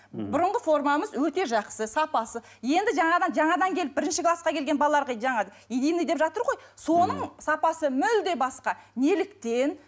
мхм бұрынғы формамыз өте жақсы сапасы енді жаңадан жаңадан келіп бірінші классқа келген балаларға жаңа единный деп жатыр ғой соның сапасы мүлде басқа неліктен